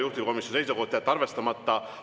Juhtivkomisjoni seisukoht on jätta arvestamata.